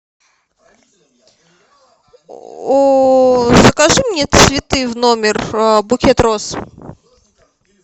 закажи мне цветы в номер букет роз